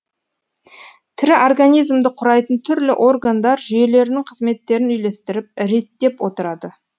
тірі организмді құрайтын түрлі органдар жүйелерінің қызметтерін үйлестіріп реттеп отырады